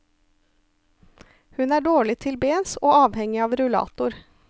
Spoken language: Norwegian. Hun er dårlig til bens og avhengig av rullator.